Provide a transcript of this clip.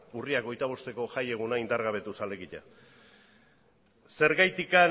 urriak hogeita bosteko jaieguna indargabetuz alegia zergatik